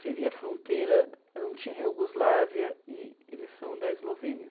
Seria a fronteira antiga Iugoslávia e eles são da Eslovênia.